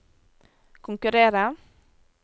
konkurrere